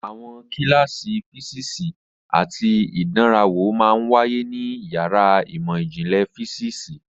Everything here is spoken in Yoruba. Àwọn kíláàsì físíìsì àti ìdánrawò máa ń wáyé ní yàrá ìmọ̀ ìjìnlẹ̀ físíìsì.